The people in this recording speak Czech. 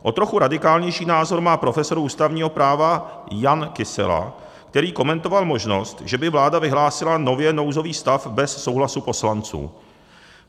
O trochu radikálnější názor má profesor ústavního práva Jan Kysela, který komentoval možnost, že by vláda vyhlásila nově nouzový stav bez souhlasu poslanců.